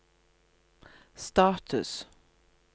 status